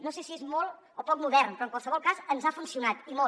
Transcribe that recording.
no sé si és molt o poc modern però en qualsevol cas ens ha funcionat i molt